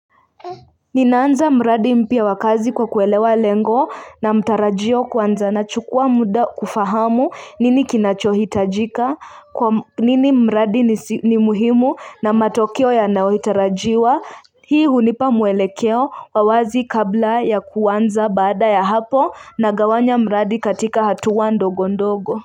Ninaanza mradi mpya wakazi kwa kuelewa lengo na matarajio kwanza na nachukua muda kufahamu nini kinachohitajika kwanini mradi ni muhimu na matokeo yanayotarajiwa hii hunipa muelekeo wawazi kabla ya kuanza baada ya hapo na gawanya mradi katika hatuwa ndogo ndogo.